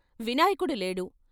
వినాయకుడు లేడు.